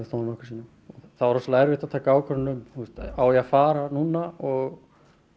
þó nokkrum sinnum það var rosalega erfitt að taka ákvörðun um á ég að fara núna og